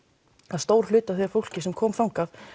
að stór hluti af því fólki sem kom þangað